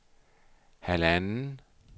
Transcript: halvanden